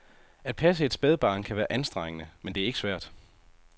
At passe et spædbarn kan være anstrengende, men det er ikke svært.